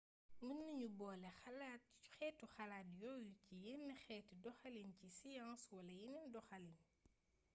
mën nañu boole xeetu xalaat yooyu ci yenn xeeti doxalini ci science wala yeneen doxalin